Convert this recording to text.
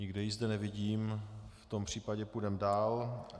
Nikde ji zde nevidím, v tom případě půjdeme dál.